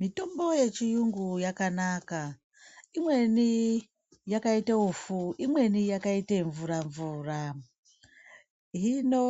Mitombo yechiyungu yakanaka imweni yakaite ufu , imweni yakaite mvura mvura hino